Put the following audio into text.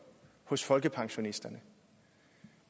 hos folkepensionisterne